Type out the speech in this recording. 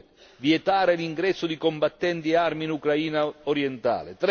due, vietare l'ingresso di combattenti e armi in Ucraina orientale